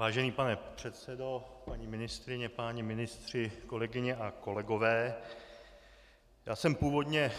Vážený pane předsedo, paní ministryně, páni ministři, kolegyně a kolegové, já jsem původně